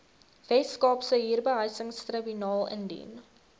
weskaapse huurbehuisingstribunaal indien